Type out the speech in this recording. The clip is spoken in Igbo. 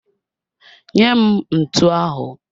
Nye m ntu ahụ!